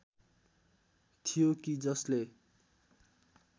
थियो कि जसले